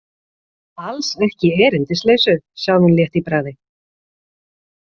Alls ekki erindisleysu, sagði hún létt í bragði.